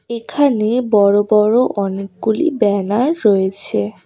এখানে বড় বড় অনেকগুলি ব্যানার রয়েছে।